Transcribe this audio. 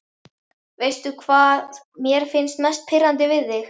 Veistu hvað mér finnst mest pirrandi við þig?